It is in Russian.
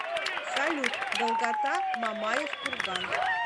салют долгота мамаев курган